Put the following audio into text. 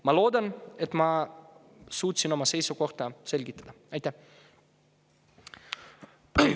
Ma loodan, et ma suutsin oma seisukohti selgitada.